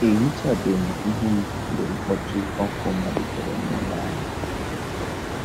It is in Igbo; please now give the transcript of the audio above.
Ehichabem ihu m mgbe mkpọtụ ọkụ malitere nụlọ ahụ